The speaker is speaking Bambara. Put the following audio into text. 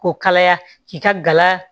K'o kalaya k'i ka gala